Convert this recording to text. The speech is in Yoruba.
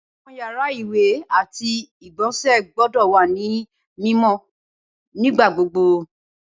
Awọn yara iwẹ ati igbonse gbọdọ wa ni mimọ nigbagbogbo.